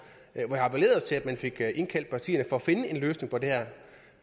at man fik indkaldt partierne for at finde en løsning på det her